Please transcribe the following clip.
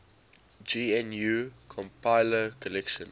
gnu compiler collection